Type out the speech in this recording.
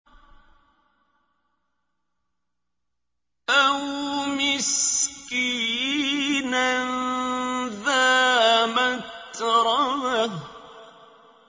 أَوْ مِسْكِينًا ذَا مَتْرَبَةٍ